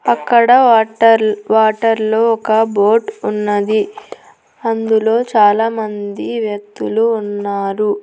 అక్కడ water water లో ఒక బోట్ ఉన్నది అందులో చాలా మంది వ్యక్తులు ఉన్నారు.